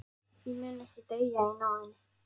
Ég mun ekki deyja í náðinni.